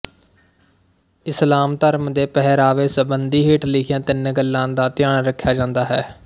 ਇਸਲਾਮ ਧਰਮ ਦੇ ਪਹਿਰਾਵੇ ਸੰਬੰਧੀ ਹੇਠ ਲਿਖੀਆਂ ਤਿੰਨ ਗੱਲਾ ਦਾ ਧਿਆਨ ਰੱਖਿਆ ਜਾਂਦਾ ਹੈ